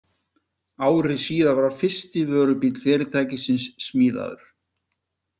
Ári síðar var fyrsti vörubíll fyrirtækisins smíðaður.